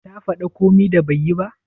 Ta fada komi da ban yi ba?